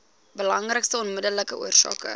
belangrikste onmiddellike oorsake